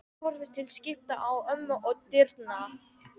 Hún horfir til skiptis á ömmu og dyrnar.